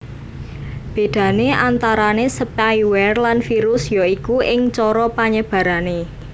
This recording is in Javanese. Bédané antarané spyware lan virus ya iku ing cara panyebarané